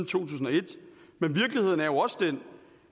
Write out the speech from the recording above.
tusind og et men virkeligheden er jo også den